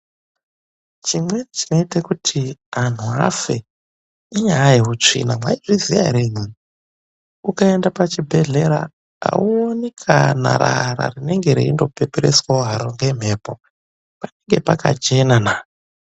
Chimweni chinoite kuti anhu vafe inyaya yehutsvina mwaizviziya here imwimwi. Ukaenda pachibhedhlera hauoni kana rara haro rinenge reindopepereswawo haro ngemhepo, panenge pakachena na. .